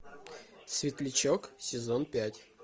светлячок сезон пять